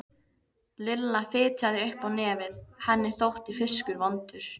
Lilla fitjaði upp á nefið, henni þótti fiskur vondur.